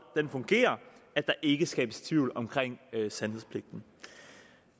fungerer at der ikke skabes tvivl om sandhedspligten